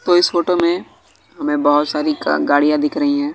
तो इस फोटो में हमें बहोत सारी का गाड़ियां दिख रही हैं।